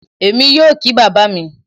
Èmi yóò kí bàbá mi